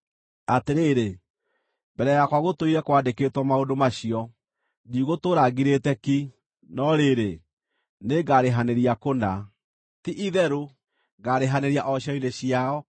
“Atĩrĩrĩ, mbere yakwa gũtũire kwandĩkĩtwo maũndũ macio: ndigũtũũra ngirĩte ki, no rĩrĩ, nĩngarĩhanĩria kũna; ti-itherũ ngaarĩhanĩria o ciero-inĩ ciao,